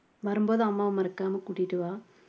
வரும்போது அம்மாவ மறக்காம கூட்டிட்டு வா